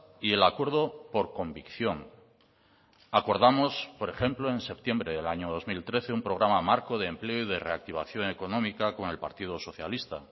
y el acuerdo por convicción acordamos por ejemplo en septiembre del año dos mil trece un programa marco de empleo y de reactivación económica con el partido socialista